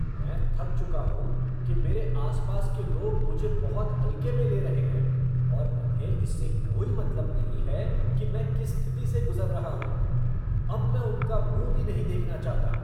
मैं थक चुका हूँ कि मेरे आस पास के लोग मुझे बहुत हल्के में ले रहे हैं और उन्हें इससे कोई मतलब नहीं है कि मैं किस स्थिति से गुज़र रहा हूँ। अब मैं उनका मुँह भी नहीं देखना चाहता।